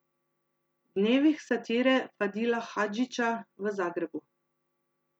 Dnevih satire Fadila Hadžića v Zagrebu.